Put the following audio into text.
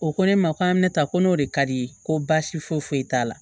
O ko ne ma ko an bɛ taa ko n'o de ka di ye ko baasi foyi t'a la